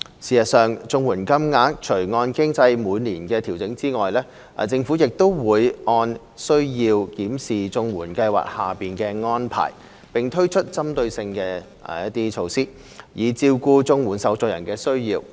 事實上，綜援金額除按機制每年調整外，政府亦會按需要檢視綜援計劃的安排，並推出針對措施，以照顧綜援受助人的需要。